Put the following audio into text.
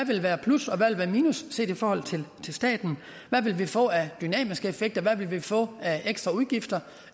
vil være plus og hvad der minus set i forhold til staten hvad vi vil få af dynamiske effekter hvad vi vil få af ekstra udgifter